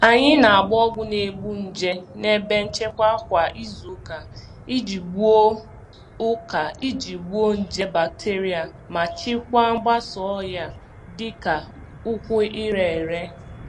Anyị na-agba ọgwụ na-egbu nje n'ebe nchekwa kwa izu ụka iji gbuo ụka iji gbuo nje bakiterịa ma chịkwaa mgbasa ọrịa dịka ụkwụ ire ere.